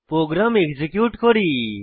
programme execute করি